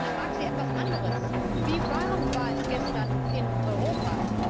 Ich frage sie etwas anderes Wie warm war es gestern in Europa?